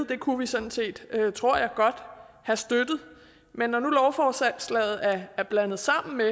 det kunne vi sådan set tror jeg godt have støttet men når nu lovforslaget er blandet sammen med